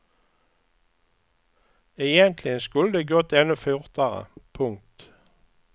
Egentligen skulle det gått ännu fortare. punkt